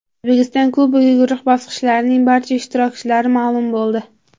O‘zbekiston Kubogi guruh bosqichining barcha ishtirokchilari ma’lum bo‘ldi.